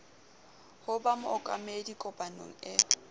ho ba mookamedi kopanong e